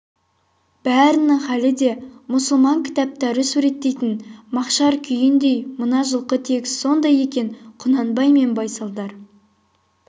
бәрінің халі де мұсылман кітаптары суреттейтін мақшар күйіндей мына жылқы тегіс сондай екен құнанбай мен байсалдар